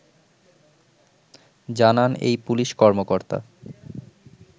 জানান এই পুলিশ কর্মকর্তা